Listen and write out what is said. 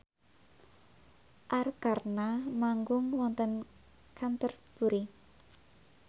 Arkarna manggung wonten Canterbury